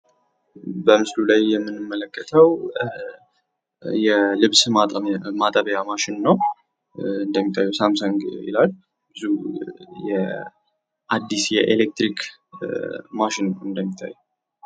በምስሉ ላይ የምንመለከተው የልብስ ማጠቢያ ማሽን ነው ። እንደሚታየው ሳምሰንግ ይላል ። አዲስ የኤሌትራክ ማሽን እንደምታዩት።